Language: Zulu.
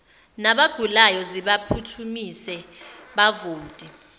nabagulayo zibaphuthumise bavote